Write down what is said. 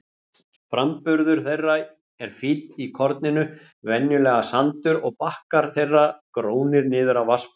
Framburður þeirra er fínn í korninu, venjulega sandur, og bakkar þeirra grónir niður að vatnsborði.